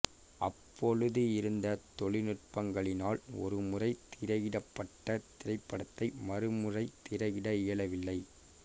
அப்பொழுது இருந்த தொழினுட்பங்களினால் ஒரு முறை திரையிடப்பட்ட திரைப்படத்தை மறுமுறை திரையிட இயலவில்லை